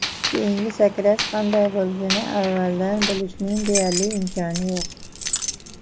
Keyingi sakrash qanday bo‘lishini avvaldan bilishning deyarli imkoni yo‘q.